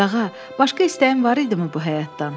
Qağa, başqa istəyin var idiimı bu həyatdan?